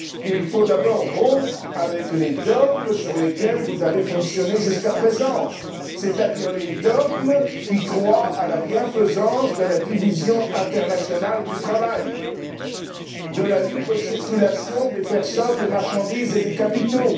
Il faut d'abord rompre avec les dogmes sur la base desquels vous avez fonctionné jusqu'à présent, c'est à dire les dogmes qui croient à la bienfaisance de la division internationale du travail, de la libre circulation des personnes, des marchandises et des capitaux.